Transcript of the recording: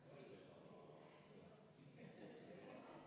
Härra Põlluaas, palun!